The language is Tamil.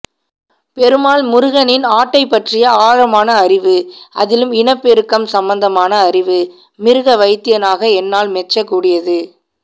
பெருமாள்முருகனின் ஆட்டைப்பற்றிய ஆழமான அறிவு அதிலும் இனப்பெருக்கம் சம்பந்தமான அறிவு மிருகவைத்தியனாக என்னால் மெச்சக்கூடியது